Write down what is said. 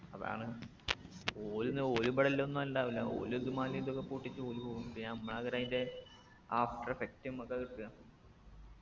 അതാണ് ഓര്ന്ന് ഓരിബിടെല്ലൊന്നു ഉണ്ടാവൂല ഓല് ഇത് മലയും ഇതൊക്കെ പൊട്ടിച് ഓല് പോവും പിന്നെ അമ്മളാകു അയിന്റെ after effect മ്മക്കാ കിട്ടാ